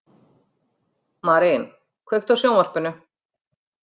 Marín, kveiktu á sjónvarpinu.